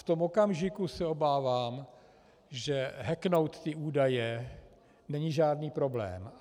V tom okamžiku se obávám, že hacknout ty údaje není žádný problém.